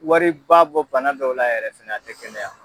Wari ba bɔ bana dɔw la yɛrɛ fɛnɛ a tɛ kɛnɛ ya.